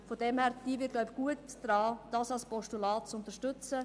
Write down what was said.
Wir täten gut daran, diesen Vorstoss als Postulat zu unterstützen.